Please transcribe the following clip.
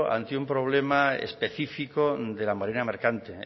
ante un problema específico de la marina mercante